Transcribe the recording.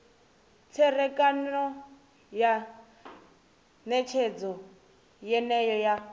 tserekano ya netshedzo yeneyo ya